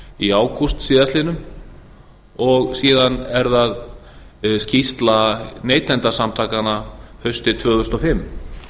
í ágúst síðastliðinn og síðan er það skýrsla neytendasamtakanna haustið tvö þúsund og fimm